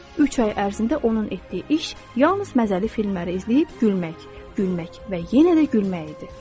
Üç ay ərzində onun etdiyi iş yalnız məzəli filmləri izləyib gülmək, gülmək və yenə də gülmək idi.